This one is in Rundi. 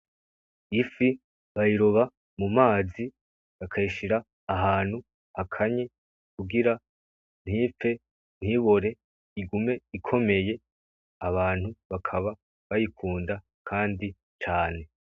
Ifi bayiroba mu mazi bakayishira ahantu hakanye kugira ntipfe ntibore igume ikomeye, abantu bakaba bayikunda kandi cane.